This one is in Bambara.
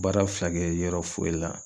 Baara fila kɛ yɔrɔ foyi la